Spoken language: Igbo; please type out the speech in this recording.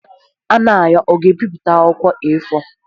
Anayo ga-ebipụta na akwụkwọ A4?